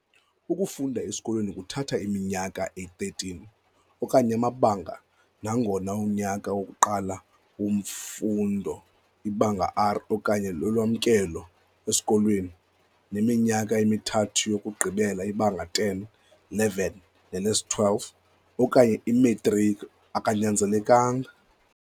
Ukufunda esikolweni kuthatha iminyaka eli-13 - okanye amabanga - nangona unyaka wokuqala wemfundo, iBanga R okanye "lolwamkelo esikolweni", neminyaka emithathu yokugqibela, iBhanga 10, 11 nele-12 okanye "iMetriki" akanyanzelekanga.